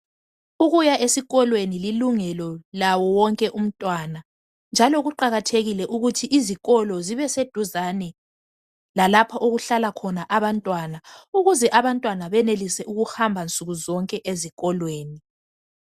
Ukuya esikolweni lilungelo lawo wonke umntwana, njalo kuqakathekile ukuthi izikolo zibe seduce lalapho okuhlala khona abantwana ukuze abantwana benelise ukuhamba nsuku zonke ezikolweni.